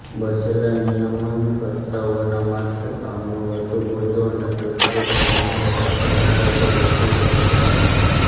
બચેલા નિયમનકર્તાઓના માથે કામનો વધુ બોજો અને પ્રત્યેક નિયમનકર્તાના ભાગે વધુ બૅન્કો આવી